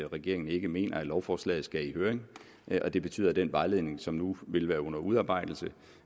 regeringen ikke mener at lovforslaget skal i høring og det betyder at den vejledning som nu vil være under udarbejdelse